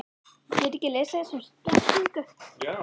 Stórir jarðskjálftar eru mestu náttúruhamfarir sem verða á jörðinni.